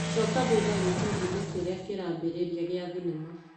Coka thutha gĩbindi-inĩ kĩrĩa kĩrambĩrĩria gĩa thinema .